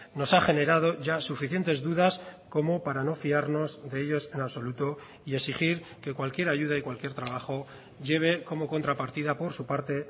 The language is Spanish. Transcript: nos ha generado ya suficientes dudas como para no fiarnos de ellos en absoluto y exigir que cualquier ayuda y cualquier trabajo lleve como contrapartida por su parte